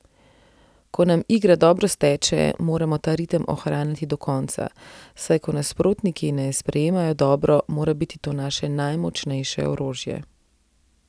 Ko nam igra dobro steče, moramo ta ritem ohranjati do konca, saj ko nasprotniki ne sprejemajo dobro, mora biti to naše najmočnejše orožje.